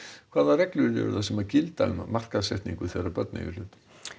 hvaða reglur gilda um markaðssetningu þegar börn eiga í hlut